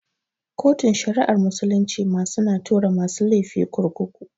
Kotun shari'ar musulunci ma su na tura tura masu lefi kurkuku